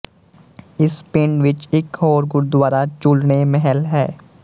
ਇਸ ਪਿੰਡ ਵਿੱੱਚ ਇੱਕ ਹੋਰ ਗੁਰਦੁਆਰਾ ਝੂਲਣੇ ਮਹਿਲ ਹੈ